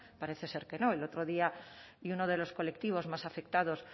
parece ser que no el otro día y uno de los colectivos más afectados